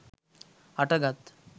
හට ගත්